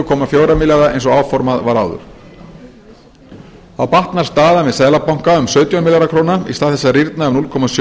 komma fjóra milljarða eins og áformað var áður þá batnar staðan við seðlabanka um sautján milljarða króna í stað þess að rýrna um núll komma sjö